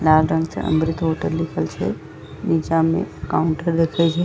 लाल रंग से अमृत होटल लिखल छै नीचा में काउंटर देखे छै।